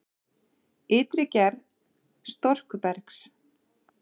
Ytri gerð storkubergs